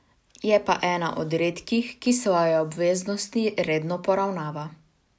Je pa ena od redkih, ki svoje obveznosti redno poravnava.